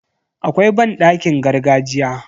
Akwai banɗakin gargajiya.